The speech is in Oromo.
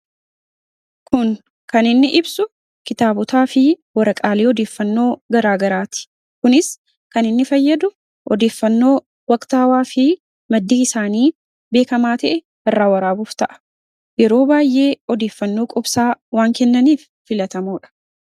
kun kan inni ibsu kitaabotaa fi warraqaalee odeeffannoo garaagaraati kunis kan inni fayyadu odeeffannoo waqtaawaa fi maddii isaanii beekamaa ta'e irraa waraabuuf ta'a yeroo baay'ee odeeffannoo qubsaa waan kennaniif filatamuudha